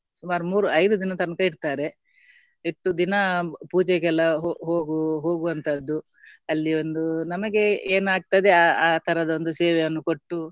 ಸುಮಾರ್ ಮೂರು ಐದು ದಿನ ತನಕ ಇಡ್ತಾರೆ ಇಟ್ಟು ದಿನ ಪೂಜೆಗೆಲ್ಲ ಹೋ~ ಹೋಗು ಹೋಗು ಹೋಗುವಂತದ್ದು ಅಲ್ಲಿ ಒಂದು ನಮಗೆ ಏನಾಗ್ತದೆ ಅ~ ಆತರದ್ದು ಒಂದು ಸೇವೆಯನ್ನು ಕೊಟ್ಟು